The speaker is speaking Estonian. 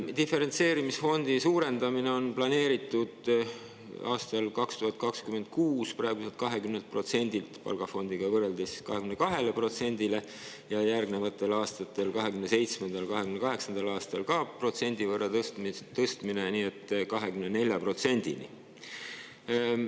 Diferentseerimisfondi on planeeritud aastal 2026 suurendada praeguselt 20%‑lt palgafondiga võrreldes 22%-le ja järgnevatel aastatel, 2027.–2028. aastal, ka protsendi võrra tõsta, nii et 24%‑ni.